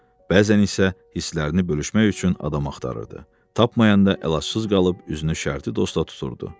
Bəzən isə hisslərini bölüşmək üçün adam axtarırdı, tapmayanda əlacız qalıb üzünü şərti dosta tuturdu.